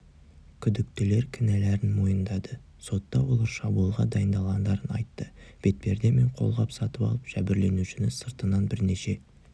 күдіктілер кінәларын мойындады сотта олар шабуылға дайындалғандарын айтты бетперде мен қолғап сатып алып жәбірленушіні сыртынан бірнеше